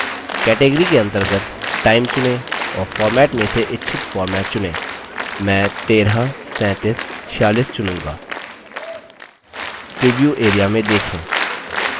category के अंतर्गत time चुनें और format में से इच्छित format चुनें मैं 133746 चुनूँगा प्रीव्यू area में देखें